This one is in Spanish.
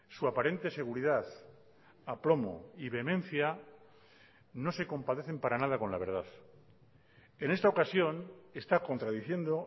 su aparente seguridad aplomo y vehemencia no se compadecen para nada con la verdad en esta ocasión está contradiciendo